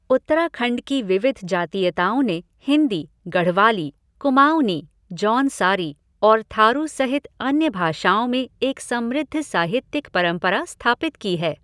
उत्तराखंड की विविध जातीयताओं ने हिंदी, गढ़वाली, कुमाऊनी, जौनसारी और थारू सहित अन्य भाषाओं में एक समृद्ध साहित्यिक परंपरा स्थापित की है।